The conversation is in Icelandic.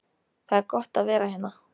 Það er gott að vera hérna.